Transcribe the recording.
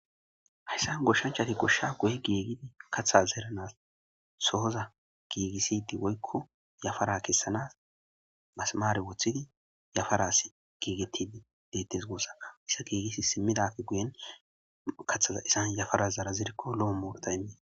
hayssan goshshanchati goshsha guye giigidi kaththa zeeranas sohoza giigisidi woykko yafara kessanas masmaare woththidi yafaras giigettii deettes goossa issa giigisi simmidafe guyen kathaza isan yafara zara zirikko lo'o morta immi